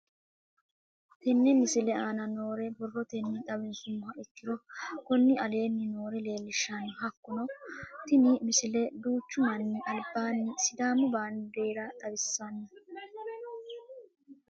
Tenne misile aana noore borrotenni xawisummoha ikirro kunni aane noore leelishano. Hakunno tinni misile duuchu manni albaannu sidaamu bandeera xawissanno.